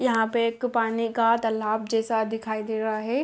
यहाँ पे एक पानी का तालाब जैसा दिखाई दे रहा हैं।